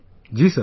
Ji sir